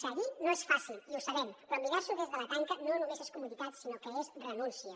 seguir no és fàcil i ho sabem però mirar s’ho des de la tanca no només és comoditat sinó que és renúncia